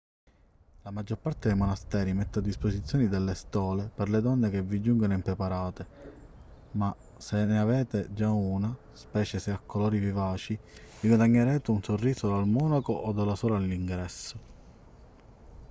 la maggior parte dei monasteri mette a disposizione delle stole per le donne che vi giungono impreparate ma se ne avete già una specie se a colori vivaci vi guadagnerete un sorriso dal monaco o dalla suora all'ingresso